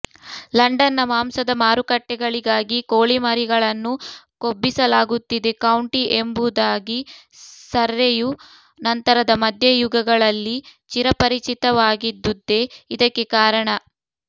ಲಂಡನ್ನ ಮಾಂಸದ ಮಾರುಕಟ್ಟೆಗಳಿಗಾಗಿ ಕೋಳಿಮರಿಗಳನ್ನು ಕೊಬ್ಬಿಸಲಾಗುತ್ತಿದ್ದ ಕೌಂಟಿ ಎಂಬುದಾಗಿ ಸರ್ರೆಯು ನಂತರದ ಮಧ್ಯಯುಗಗಳಲ್ಲಿ ಚಿರಪರಿಚಿತವಾಗಿದ್ದುದೇ ಇದಕ್ಕೆ ಕಾರಣ